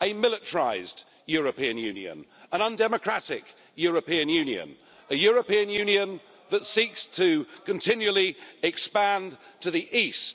a militarised European Union, an undemocratic European Union, a European Union that seeks to continually expand to the east.